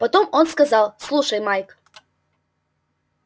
потом он сказал слушай майк